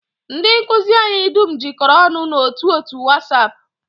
Ndị nkụzi anyị dum jikọrọ ọnụ n'otu otu wasap